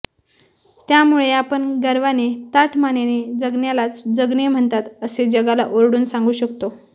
त्यामुळे आपण गर्वाने ताठमानेने जगण्यालाच जगणे म्हणतात असे जगाला ओरडून सांगू शकतो